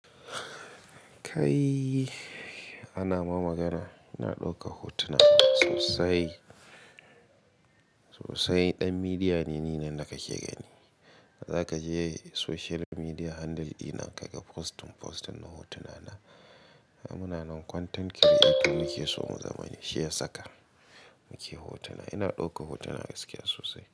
Kai ana ma magana, na ɗauka hotunan sosai. Sosai ɗan midiya ne ni nan da kake gani. Za ka je social media handle ina kaga postin postin din hotuna na. Muna nan content creator muke so mu zama shi ya saka muke hotuna. Ina ɗaukan hotuna gaskiya sosai.